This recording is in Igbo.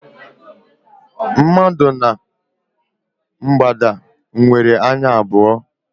Mmadụ na mgbada nwere anya abụọ.